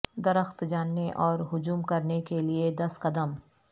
درخت جاننے اور ہجوم کرنے کے لئے دس قدم